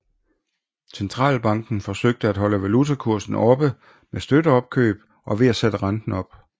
Centralbanken forsøgte at holde valutakursen oppe med støtteopkøb og ved at sætte renten op